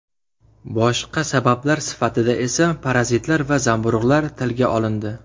Boshqa sabablar sifatida esa parazitlar va zamburug‘lar tilga olindi.